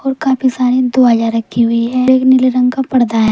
ओर काफी सारे दवाइयां रखी हुई हैं एक नीले रंग का परदा है।